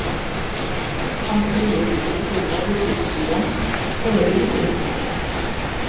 gullhamstur lifir villtur í norðurhluta sýrlands og er í útrýmingarhættu